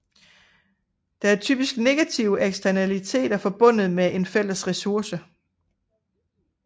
Der er typisk negative eksternaliteter forbundet med en fælles ressource